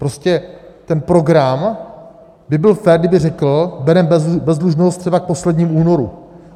Prostě ten program by byl fér, kdyby řekl: bereme bezdlužnost třeba k poslednímu únoru.